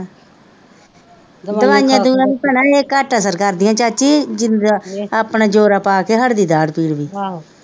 ਦਵਾਈਆਂ ਇਹ ਘੱਟ ਅਸਰ ਕਰਦੀਆਂ ਚਾਚੀ ਜਿੰਨ੍ਹਾ ਆਪਣੇ ਜ਼ੋਰਾ ਪਾ ਕੇ ਹੱਟਦੀ ਦਾੜ੍ਹ ਪੀੜ ਵੀ